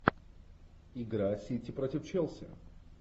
игра сити против челси